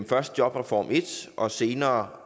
først jobreform i og senere